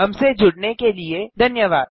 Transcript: हमसे जुड़ने के लिए धन्यवाद